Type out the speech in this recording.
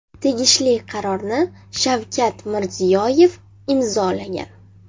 Tegishli qarorni Shavkat Mirziyoyev imzolagan.